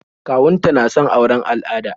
Kawun ta na son auren al'ada